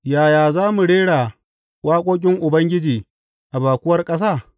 Yaya za mu rera waƙoƙin Ubangiji a baƙuwar ƙasa?